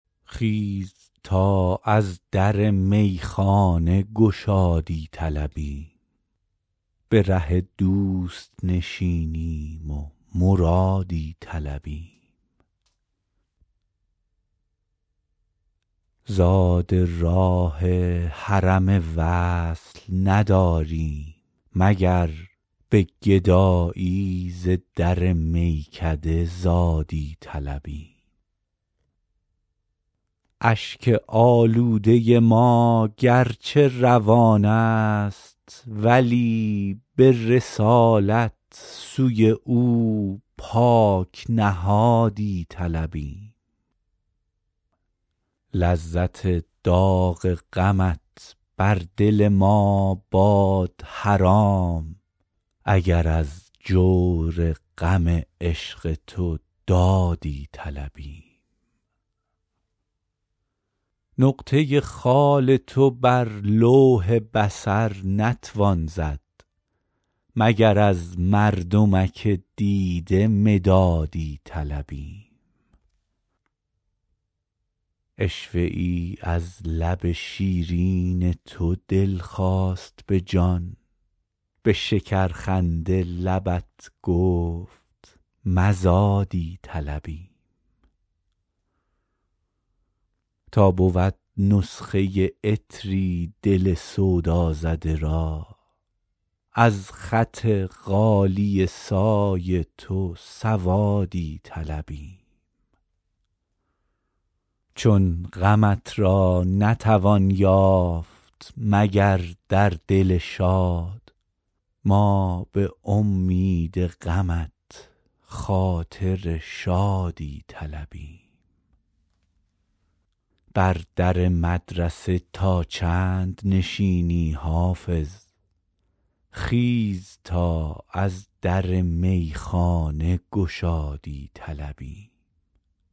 خیز تا از در میخانه گشادی طلبیم به ره دوست نشینیم و مرادی طلبیم زاد راه حرم وصل نداریم مگر به گدایی ز در میکده زادی طلبیم اشک آلوده ما گرچه روان است ولی به رسالت سوی او پاک نهادی طلبیم لذت داغ غمت بر دل ما باد حرام اگر از جور غم عشق تو دادی طلبیم نقطه خال تو بر لوح بصر نتوان زد مگر از مردمک دیده مدادی طلبیم عشوه ای از لب شیرین تو دل خواست به جان به شکرخنده لبت گفت مزادی طلبیم تا بود نسخه عطری دل سودازده را از خط غالیه سای تو سوادی طلبیم چون غمت را نتوان یافت مگر در دل شاد ما به امید غمت خاطر شادی طلبیم بر در مدرسه تا چند نشینی حافظ خیز تا از در میخانه گشادی طلبیم